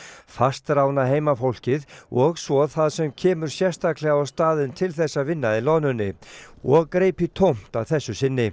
fastráðna heimafólkið og svo það sem kemur sérstaklega á staðinn til þess að vinna í loðnunni og greip í tómt að þessu sinni